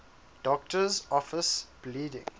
doctor's office bleeding